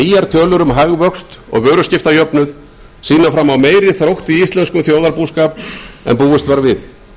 að nýjar tölur um hagvöxt og vöruskiptajöfnuð sýna fram á meiri þrótt í íslenskum þjóðarbúskap en búist var við